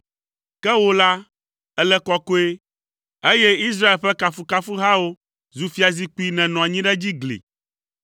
Ke wò la, èle kɔkɔe, eye Israel ƒe kafukafuhawo zu fiazikpui nènɔ anyi ɖe edzi gli.